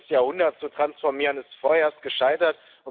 21. Jahrhundert zu transformieren, ist vorerst gescheitert.